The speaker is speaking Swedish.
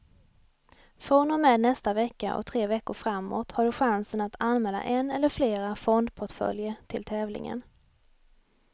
Från och med nästa vecka och tre veckor framåt har du chansen att anmäla en eller flera fondportföljer till tävlingen.